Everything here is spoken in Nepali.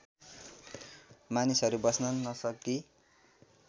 मानिसहरू बस्न नसकी